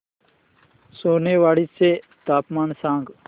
सोनेवाडी चे तापमान सांग